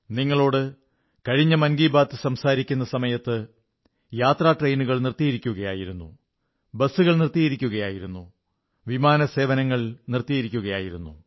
നിങ്ങളോട് കഴിഞ്ഞ മൻ കീ ബാത് സംസാരിക്കുന്ന സമയത്ത് യാത്രാ ട്രെയിനുകൾ നിർത്തിയിരിക്കുകയായിരുന്നു ബസ്സുകൾ നിർത്തിയിരിക്കുകയായിരുന്നു വിമാനസേവനങ്ങൾ നിർത്തിയിരിക്കുകയായിരുന്നു